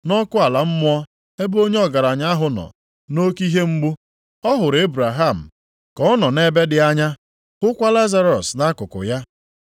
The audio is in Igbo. Nʼọkụ ala mmụọ ebe onye ọgaranya ahụ nọ nʼoke ihe mgbu, ọ hụrụ Ebraham ka ọ nọ nʼebe dị anya, hụkwa Lazarọs nʼakụkụ ya.